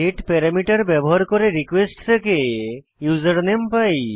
getParameter ব্যবহার করে request থেকে ইউজারনেম পাই